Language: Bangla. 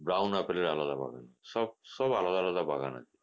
brown apple এর আলাদা বাগান সব সব আলাদা আলাদা বাগান আছে